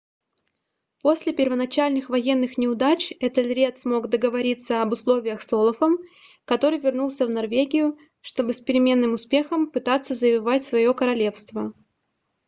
после первоначальных военных неудач этельред смог договориться об условиях с олафом который вернулся в норвегию чтобы с переменным успехом пытаться завоевать свое королевство